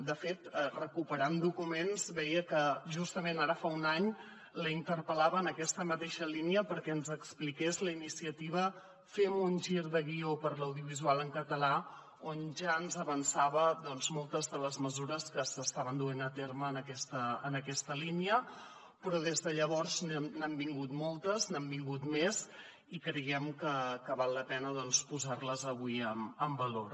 de fet recuperant documents veia que justament ara fa un any l’interpel·lava en aquesta mateixa línia perquè ens expliqués la iniciativa fem un gir de guió per l’audiovisual en català on ja ens avançava doncs moltes de les mesures que s’estaven duent a terme en aquesta línia però des de llavors n’han vingut moltes n’han vingut més i creiem que val la pena doncs posar les avui en valor